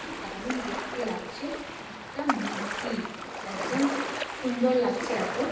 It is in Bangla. কি দারুণ দেখতে লাগছে এটা মূর্তি। একদম সুন্দর লাগছে এত--